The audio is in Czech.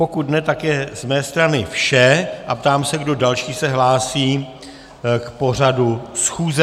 Pokud ne, je to z mé strany vše a ptám se, kdo další se hlásí k pořadu schůze.